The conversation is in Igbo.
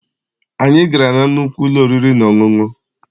Anyị gara na nnukwu ụlọ oriri na ọṅụṅụ.